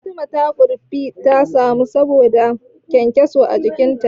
Fatima Kurfi ta suma saboda taga kyankyaso a jikinta.